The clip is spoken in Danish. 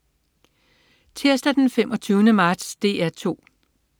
Tirsdag den 25. marts - DR 2: